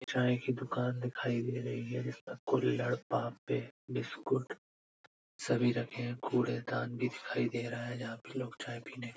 चाय की दुकान दिखाई दे रही है इस पर कुल्हड़ बिस्कुट सभी रखे हैं | कूड़ेदान भी दिखाई दे रहा है जहाँ पे लोग चाय पीने --